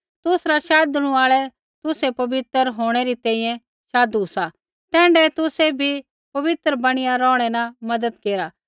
तुसरा शाधणु आल़ै तुसै पवित्र होंणै री तैंईंयैं शाधु सा तैण्ढाऐ तुसाबै बी पवित्र बणिया रौहणै न मज़त केरला